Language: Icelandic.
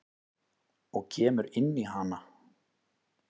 Og kemur inn í hana.